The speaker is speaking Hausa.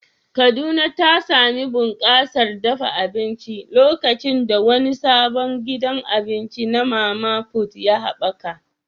Kaduna ta sami bunƙasar dafa abinci lokacin da wani sabon gidan abinci na mama put ya haɓaka.